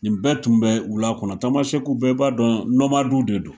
Nin bɛɛ tun bɛ wula kɔnɔ, tamasɛku bɛɛ b'a dɔn de don.